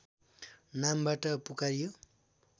नामबाट पुकारियो